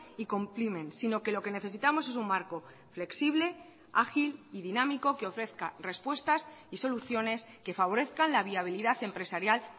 y comprimen sino que lo que necesitamos es un marco flexible ágil y dinámico que ofrezca respuestas y soluciones que favorezcan la viabilidad empresarial